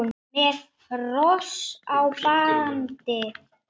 Með hross í bandi.